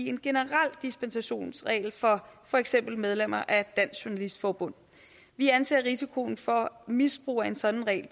en generel dispensationsregel for for eksempel medlemmer af dansk journalistforbund vi anser risikoen for misbrug af en sådan regel